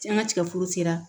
An ka tigɛforo sera